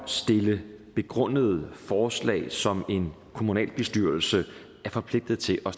stille begrundede forslag som en kommunalbestyrelse er forpligtet til at